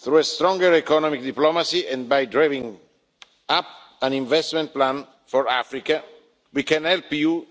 Through stronger economic diplomacy and by drawing up an investment plan for Africa, we can help you